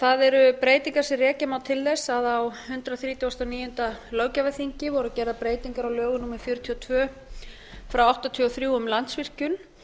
það eru breytingar sem rekja má til þess að á hundrað þrítugasta og níunda löggjafarþingi voru gerðar breytingar á lögum hr fjörutíu og tvö nítján hundruð áttatíu og þrjú um landsvirkjun